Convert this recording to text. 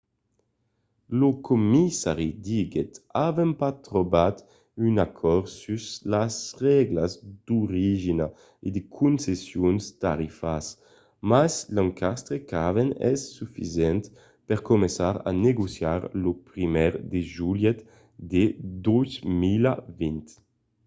lo comissari diguèt avèm pas trobat un acòrd sus las règlas d'origina e de concessions tarifàrias mas l'encastre qu'avèm es sufisent per començar a negociar lo 1èr de julhet de 2020